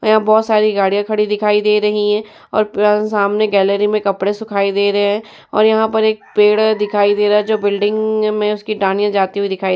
और यहां बहोत सारी गाड़ियाँ खड़ी दिखाई दे रही हैं और पे सामने गैलरी में कपड़े सुखाई दे रहे हैं और यहाँ पर एक पेड़ है जो दिखाई दे रहा है जो बिल्डिंग में उसकी टाँगें जाती हुई दिखाई --